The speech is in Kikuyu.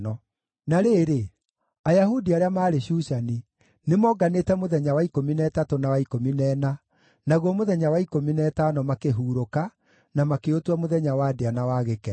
Na rĩrĩ, Ayahudi arĩa maarĩ Shushani, nĩmonganĩte mũthenya wa ikũmi na ĩtatũ na wa ikũmi na ĩna, naguo mũthenya wa ikũmi na ĩtano makĩhurũka na makĩũtua mũthenya wa ndĩa na wa gĩkeno.